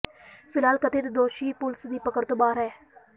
ਫਿਲਹਾਲ ਕਥਿਤ ਦੋਸ਼ੀ ਪੁਲਸ ਦੀ ਪਕੜ ਤੋਂ ਬਾਹਰ ਹੈ